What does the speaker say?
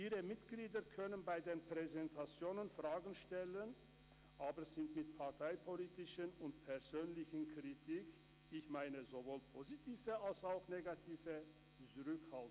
Ihre Mitglieder können bei den Präsentationen Fragen stellen, aber sie sind mit parteipolitischer und persönlicher Kritik zurückhaltend – ich meine sowohl positive als auch negative Kritik.